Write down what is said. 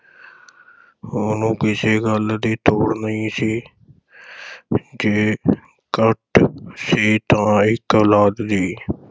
ਉਹਨੂੰ ਕਿਸੇ ਗੱਲ ਦੀ ਤੋੜ ਨਹੀਂ ਸੀ ਜੇ ਘਾਟ ਸੀ ਤਾਂ ਇਕ ਔਲਾਦ ਦੀ